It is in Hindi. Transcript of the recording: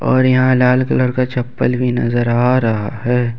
और यहां लाल कलर का चप्पल भी नजर आ रहा है।